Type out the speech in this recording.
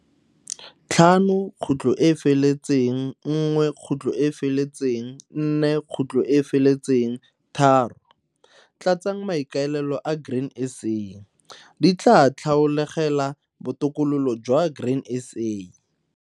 5.1.4.3 Tlatsang maikaelelo a Grain SA, di tlaa tlhaolegela botokololo jwa Grain SA.